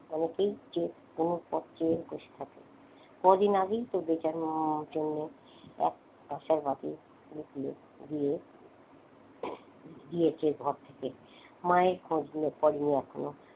অনেকেই যে কোনো পথ চেয়ে বসে থাকে। কদিন আগে তো বেচারার হুম জন্য এক দিয়ে দিয়েছে ঘর থেকে মায়ের খোঁজ করেনি এখনো।